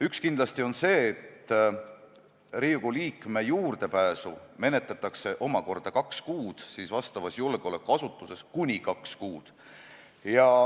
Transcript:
Üks kindlasti on see, et Riigikogu liikme juurdepääsu menetletakse omakorda kuni kaks kuud vastavas julgeolekuasutuses.